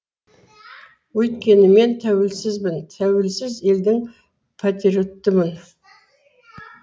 өйткені мен тәуелсізбін тәуелсіз елдің патриотымын